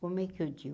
como é que eu digo?